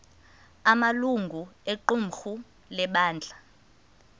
amalungu equmrhu lebandla